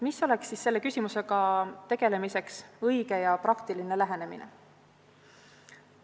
Milline oleks siis selle küsimusega tegelemiseks õige ja praktiline lähenemine?